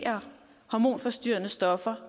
hormonforstyrrende stoffer